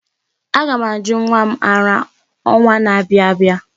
Aga ' m ajụ nwa m ara ọnwa na-abịa abịa.